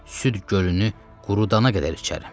Süd gölünü qurudana qədər içərəm.